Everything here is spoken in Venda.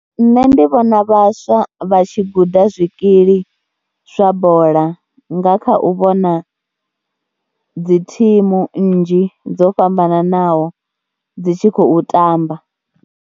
Nṋe ndi vhona vhaswa vha tshi guda zwikili zwa bola nga kha u vhona dzi thimu nnzhi dzo fhambananaho dzi tshi khou tamba.